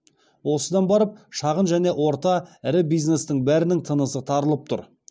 осыдан барып шағын және орта ірі бизнестің бәрінің тынысы тарылып тұр